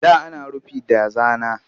Da ana rufi da zana